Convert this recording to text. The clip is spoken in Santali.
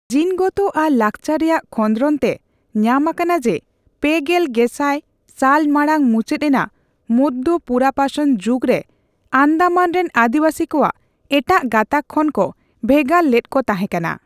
ᱡᱤᱱᱜᱚᱛᱚ ᱟᱨ ᱞᱟᱠᱪᱟᱨ ᱨᱮᱭᱟᱜ ᱠᱷᱚᱸᱫᱽᱨᱚᱱ ᱛᱮ ᱧᱟᱢ ᱟᱠᱟᱱᱟ, ᱡᱮ ᱯᱮᱜᱮᱞ ᱜᱮᱥᱟᱭ ᱥᱟᱞ ᱢᱟᱲᱟᱝ ᱢᱩᱪᱟᱹᱫ ᱮᱱᱟ ᱢᱚᱫᱭᱚ ᱯᱩᱨᱟᱯᱟᱥᱚᱱ ᱡᱩᱜᱽ ᱨᱮ ᱟᱱᱫᱢᱟᱱ ᱨᱤᱱ ᱟᱹᱫᱤᱣᱟᱥᱤ ᱠᱚᱣᱟᱜ ᱮᱴᱟᱜ ᱜᱟᱛᱟᱠ ᱠᱷᱚᱱ ᱠᱚ ᱵᱷᱮᱜᱟᱨ ᱞᱮᱫ ᱠᱚ ᱛᱟᱦᱮᱸ ᱠᱟᱱᱟ ᱾